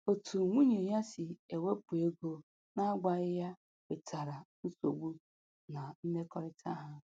Otu nwunye ya si ewepụ ego na-agwaghị ya wetara nsogbu na mmekọrịta ha